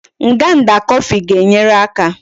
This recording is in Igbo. Nganda coffee ga enyere aka